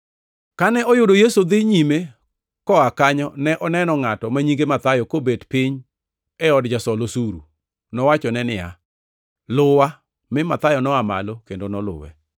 Kane oyudo Yesu dhi nyime koa kanyo ne oneno ngʼato ma nyinge Mathayo kobet piny e od jasol osuru. Nowachone niya, “Luwa,” mi Mathayo noa malo kendo noluwe.